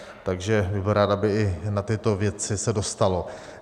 Takže bych byl rád, aby i na tyto věci se dostalo.